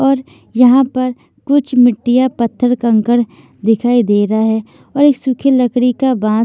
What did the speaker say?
और यहां पर कुछ मिट्टियां पत्थर- कंकड़ दिखाई दे रहा हैऔर ए सूखे लकड़ी का बा--